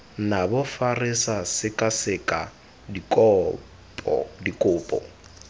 nabo fa re sekaseka dikopo